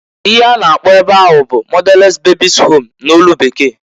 Ihe a na-akpọ ebe ahu bu motherless babies' home n'olu Bekee.